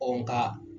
Ɔ nga